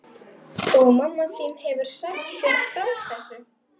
Og mamma þín hefur sagt þér frá þessu?